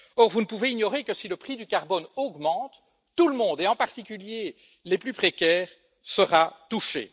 Or, vous ne pouvez ignorer que si le prix du carbone augmente, tout le monde et, en particulier, les plus précaires sera touché.